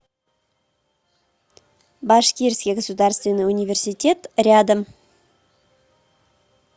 башкирский государственный университет рядом